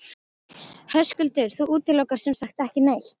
Höskuldur: Þú útilokar sem sagt ekki neitt?